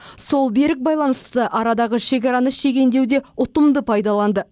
сол берік байланысты арадағы шекараны шегендеуде ұтымды пайдаланды